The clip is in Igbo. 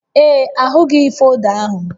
Ee, ahụghị folda ahụ